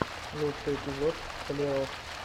лучший эпизод столяров